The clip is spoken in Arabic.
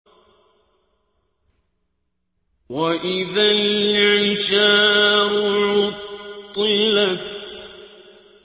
وَإِذَا الْعِشَارُ عُطِّلَتْ